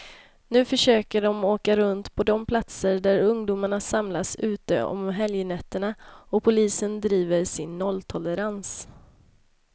Nu försöker de åka runt på de platser där ungdomarna samlas ute om helgnätterna, och polisen driver sin nolltolerans.